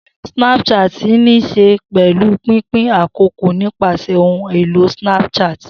Snapchatting ní í ṣe pẹ̀lú pínpín àkókò nípasẹ̀ ohun èlò Snapchat.